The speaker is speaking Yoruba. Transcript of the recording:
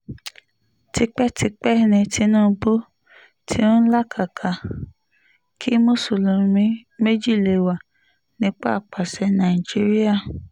tipẹ́tipẹ́ ni tinubu tí ń làkàkà kí mùsùlùmí méjì lè wà nípò àpasẹ̀ nàìjíríà